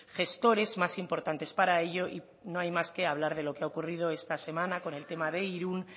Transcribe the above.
gestores más importantes para ello y no hay más que hablar de lo que ha ocurrido esta semana con el tema de irún